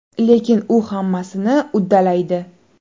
Lekin u hammasini uddalaydi.